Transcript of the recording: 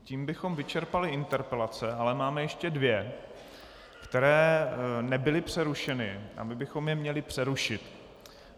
Tím bychom vyčerpali interpelace, ale máme ještě dvě, které nebyly přerušeny a my bychom je měli přerušit.